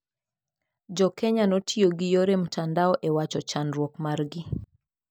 Jokenya notiyo gi yore mtandao ewacho chandruok margi.